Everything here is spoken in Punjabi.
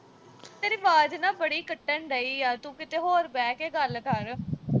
ਤੇਰੀ ਆਵਾਜ਼ ਨਾ ਅਹ ਬੜੀ ਕੱਟਣ ਡਈ ਆ। ਤੂੰ ਕਿਤੇ ਹੋਰ ਬਹਿ ਕੇ ਗੱਲ ਕਰ।